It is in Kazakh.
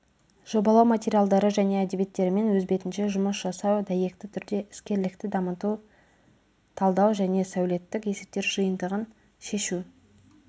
жобалау материалдары және әдебиеттерімен өз бетінше жұмыс жасау дәйекті түрде іскерлікті дамыту талдау және сәулеттік есептер жиынтығын шешу